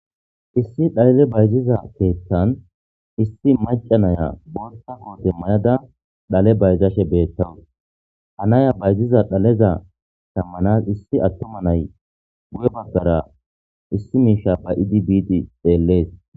issi dhalile bayziza keettan issi macanaya boota koote mayada dhale bayizashe beettawus havnaya bayziza dhaleza shammanas issi attuma nay guye baggara issi miisha ba'idi bid xeellees